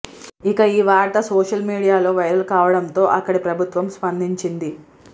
ఇక ఈ వార్త సోషల్ మీడియాలో వైరల్ కావడంతో అక్కడి ప్రభుత్వం స్పందించింది